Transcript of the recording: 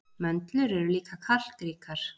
Möndlur eru líka kalkríkar.